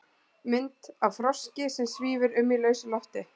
Mynd af froski sem svífur um í lausu lofti.